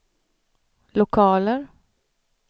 lokaler